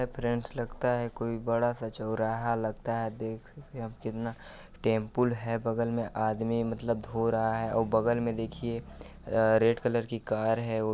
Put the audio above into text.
friends लगता है कोई बड़ा-सा चौराहा लगता है देख अ कितना टेम्पल है बगल में आदमी मतलब धो रहा है अउ बगल में देखिये अ रेड कलर की कार है ओ--